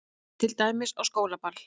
Til dæmis á skólaball.